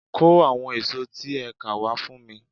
Kó àwon èso tẹ́ ẹ ká wá fún mi